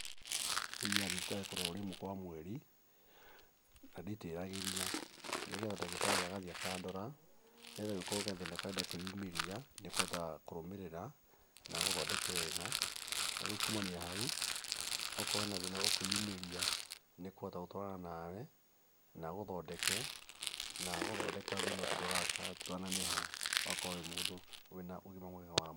Niĩ thiaga thibitarĩ kũrorwo rĩmwe kwa mweri, na nditĩragĩria, nĩgetha ndagĩtarĩ agathiĩ akandora, nĩgetha kũngĩkorwo gathĩna karenda kwĩyumĩria nĩ ahotaga kũrũmĩrĩra na agũthondeke wega na rĩu kumania na hau, okorwo hena thĩna ũkwĩyumĩria nĩ akũhota gũtwarana nawe, na agũthondeke na agũthondeka thĩna ũcio ndũkaneneha ũgakorwo wĩ mũndũ wĩna ũgima mwega wa mwĩrĩ.